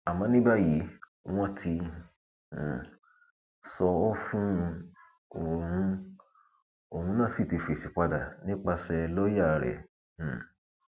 àmọ ní báyìí wọn ti um sọ ọ fún un òun un òun náà sí ti fèsì padà nípasẹ lọọyà rẹ um